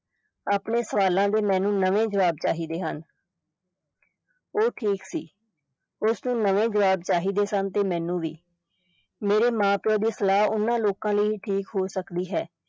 ਆਪਣੇ ਸਵਾਲਾਂ ਦੇ ਮੈਨੂੰ ਨਵੇਂ ਜਵਾਬ ਚਾਹੀਦੇ ਹਨ ਉਹ ਠੀਕ ਸੀ ਉਸ ਨੂੰ ਨਵੇਂ ਜਵਾਬ ਚਾਹੀਦੇ ਸਨ ਤੇ ਮੈਨੂੰ ਵੀ, ਮੇਰੇ ਮਾਂ-ਪਿਓ ਦੀ ਸਲਾਹ ਉਨ੍ਹਾਂ ਲੋਕਾਂ ਲਈ ਠੀਕ ਹੋ ਸਕਦੀ ਸੀ